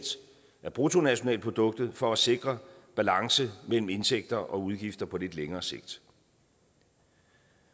af bruttonationalproduktet for at sikre balance mellem indtægter og udgifter på lidt længere sigt